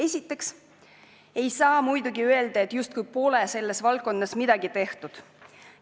Muidugi ei saa öelda, justkui poleks selles valdkonnas midagi tehtud.